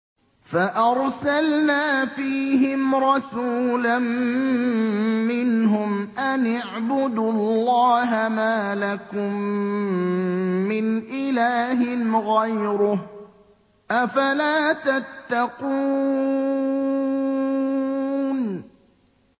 فَأَرْسَلْنَا فِيهِمْ رَسُولًا مِّنْهُمْ أَنِ اعْبُدُوا اللَّهَ مَا لَكُم مِّنْ إِلَٰهٍ غَيْرُهُ ۖ أَفَلَا تَتَّقُونَ